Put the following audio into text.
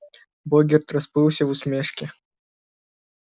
богерт расплылся в усмешке